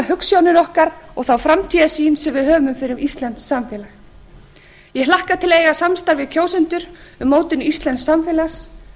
hugsjónir okkar og þá framtíðarsýn sem við höfum fyrir íslenskt samfélag ég hlakka til að eiga samstarf við kjósendur um mótun íslensks samfélags